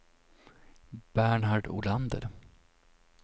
Bernhard Olander